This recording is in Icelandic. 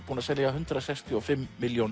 búinn að selja hundrað sextíu og fimm milljón